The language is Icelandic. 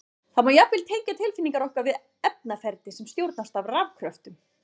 Það má jafnvel tengja tilfinningar okkar við efnaferli sem stjórnast af rafkröftum!